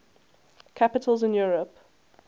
capitals in europe